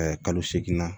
kalo seegin na